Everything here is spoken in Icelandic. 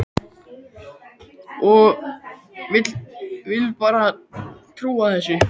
Ég vil bara ekki trúa þessu.